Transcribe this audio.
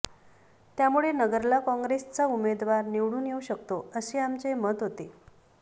त्यामुळे नगरला काँग्रेसचा उमेदवार निवडून येऊ शकतो असे आमचे मत होते